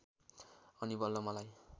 अनि बल्ल मलाई